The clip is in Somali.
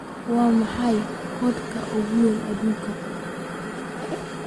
Waa maxay godka ugu weyn adduunka?